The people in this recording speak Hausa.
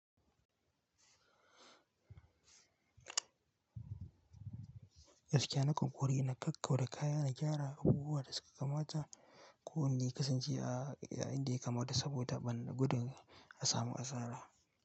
Gaskiya nakan ƙoƙarr na kakkauda kaya na gyara abubuwa da suka kamata kowanne ya kasance a inda yakamata saboda ban gudun asamu asara.